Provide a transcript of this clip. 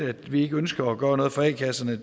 at vi ikke ønsker at gøre noget for a kasserne